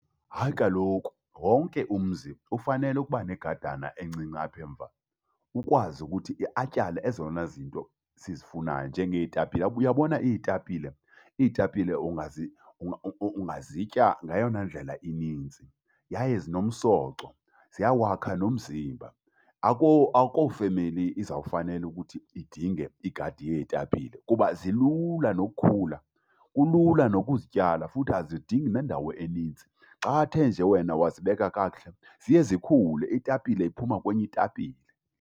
Hayi kaloku, wonke umzi ufanele ukuba negadana encinci apha emva ukwazi ukuthi atyale ezona zinto sizifunayo njengeetapile. Uyabona iitapile? Iitapile ungazitya ngayona ndlela ininzi yaye zinomsoco, ziyawakha nomzimba. Akho, akho femeli izawufanele ukuthi idinge igadi yeetapile kuba zilula nokukhula. Kulula nokuzityala futhi azidingi nendawo eninzi. Xathe nje wena wazibeka kakuhle ziye zikhule, itapile iphuma kwenye itapile.